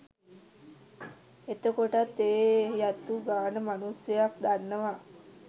එතකොටත් ඒ යතු ගාන මනුස්සය දන්නවා